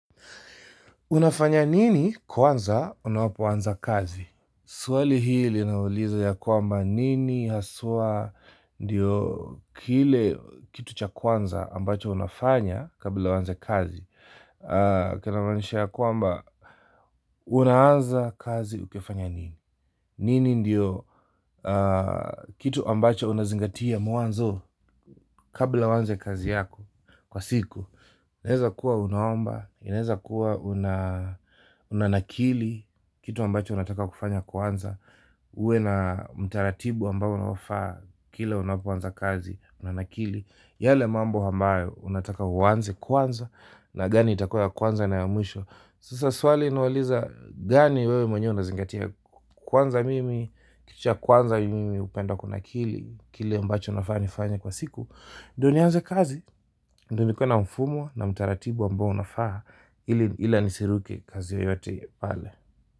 Unafanya nini kwanza unapofanya kazi? Swali hili linauliza ya kwamba nini haswa ndio kile kitu cha kwanza ambacho unafanya kabla uanze kazi. Kina maanisha ya kwamba unaanza kazi ukifanya nini? Nini ndio kitu ambacho unazingatia mwanzo kabla uanze kazi yako kwa siku inaweza kuwa unaomba, inaeza kuwa unanakili kitu ambacho unataka kufanya kwanza uwe na mtaratibu ambao unaofaa, kila unapoanza kazi, unanakili yale mambo ambayo unataka uwanze kwanza na gani itakua ya kwanza na ya mwisho. Sasa swali linauliza gani wewe mwenye unazingatia kwanza mimi, kitu cha kwanza mimi hupenda kunakili kile ambacho nafaa nifanye kwa siku ndio nianze kazi, ndio nikuwe na mfumo na mtaratibu ambao unafaa ila nisiruke kazi yoyote pale.